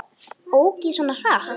Ók ég svona hratt?